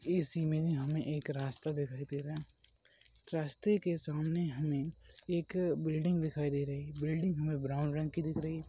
इस इमेज हमें एक रास्ता दिखाई दे रहा है। रास्ते के सामने हमें एक बिल्डिंग दिखाई दे रही है बिल्डिंग हमें ब्राउन रंग की दिख रही है।